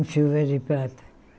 chuva de prata.